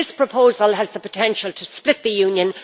This proposal has the potential to split the Union.